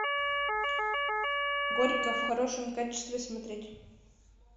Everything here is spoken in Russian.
горько в хорошем качестве смотреть